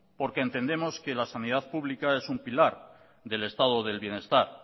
porque entendemos que la sanidad pública es un pilar del estado del bienestar